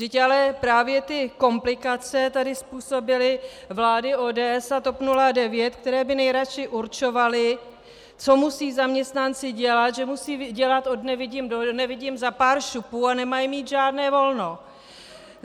Vždyť ale právě ty komplikace tady způsobily vlády ODS a TOP 09, které by nejradši určovaly, co musí zaměstnanci dělat, že musí dělat od nevidím do nevidím za pár šupů a nemají mít žádné volno.